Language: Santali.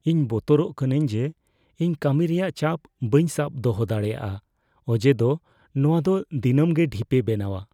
ᱤᱧ ᱵᱚᱛᱚᱨᱚᱜ ᱠᱟᱹᱱᱟᱹᱧ ᱡᱮ ᱤᱧ ᱠᱟᱹᱢᱤ ᱨᱮᱭᱟᱜ ᱪᱟᱯ ᱵᱟᱹᱧ ᱥᱟᱵ ᱫᱚᱦᱚ ᱫᱟᱲᱮᱭᱟᱜᱼᱟ ᱚᱡᱮ ᱫᱚ ᱱᱚᱣᱟ ᱫᱚ ᱫᱤᱱᱟᱹᱢ ᱜᱮ ᱰᱷᱤᱯᱮ ᱵᱮᱱᱟᱣᱟ ᱾